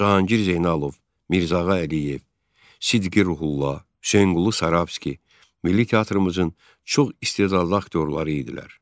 Cahangir Zeynalov, Mirzəağa Əliyev, Sidqi Ruhulla, Hüseynqulu Sarabski, milli teatrımızın çox istedadlı aktyorları idilər.